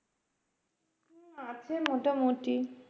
আছে মোটামুটি